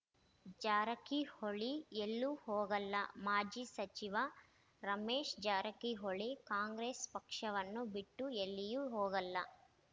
ಜಾರಕಿಹೊಳಿ ಎಲ್ಲೂ ಹೋಗಲ್ಲ ಮಾಜಿ ಸಚಿವ ರಮೇಶ್‌ ಜಾರಕಿಹೊಳಿ ಕಾಂಗ್ರೆಸ್‌ ಪಕ್ಷವನ್ನು ಬಿಟ್ಟು ಎಲ್ಲಿಯೂ ಹೋಗಲ್ಲ